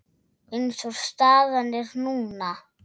Eins og staðan er núna.